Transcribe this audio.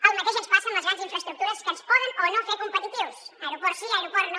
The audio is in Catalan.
el mateix ens passa amb les grans infraestructures que ens poden o no fer competitius aeroport sí aeroport no